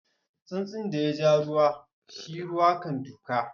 Tsuntsun daya kira ruwa, shi ruwa kan duka.